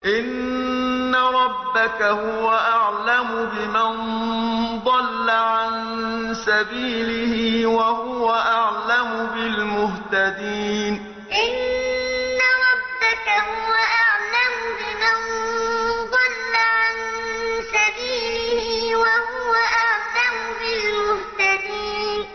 إِنَّ رَبَّكَ هُوَ أَعْلَمُ بِمَن ضَلَّ عَن سَبِيلِهِ وَهُوَ أَعْلَمُ بِالْمُهْتَدِينَ إِنَّ رَبَّكَ هُوَ أَعْلَمُ بِمَن ضَلَّ عَن سَبِيلِهِ وَهُوَ أَعْلَمُ بِالْمُهْتَدِينَ